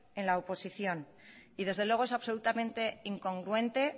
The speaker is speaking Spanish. en la oposición y desde luego es absolutamente incongruente